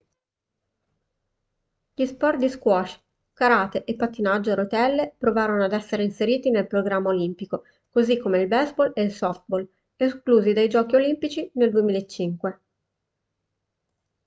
gli sport di squash karate e pattinaggio a rotelle provarono ad essere inseriti nel programma olimpico così come il baseball e il softball esclusi dai giochi olimpici nel 2005